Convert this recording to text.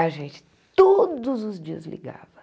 A gente todos os dias ligava.